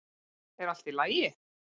er allt í lagi